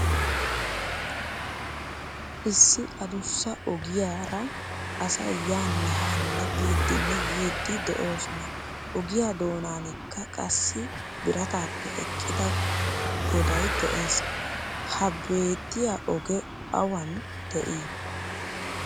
Issi addussa ogiyaa ra asay yaane haane biidinne yiidi de'osona. Ogiya dooaninkka qassi birattappe eqqida goday de'ees. Ha beetiya oge awan de'i?